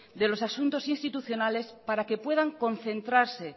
de los asuntos institucionales para que puedan concentrarse